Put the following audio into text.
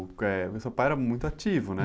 que, eh, o seu pai era muito ativo, né?